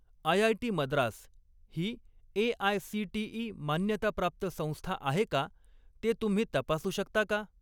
IIT Madras ही AICTE. मान्यताप्राप्त संस्था आहे का ते तुम्ही तपासू शकता का?